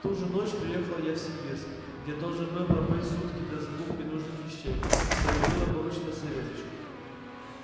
в ту же ночь приехал я в симбирск где должен был пробыть сутки для закупки нужных вещей что и было поручено савельичу